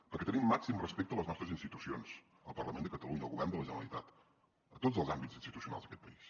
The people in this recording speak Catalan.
perquè tenim màxim respecte a les nostres institucions al parlament de catalunya al govern de la generalitat a tots els àmbits institucionals d’aquest país